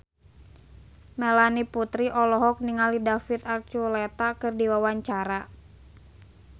Melanie Putri olohok ningali David Archuletta keur diwawancara